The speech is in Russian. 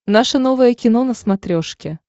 наше новое кино на смотрешке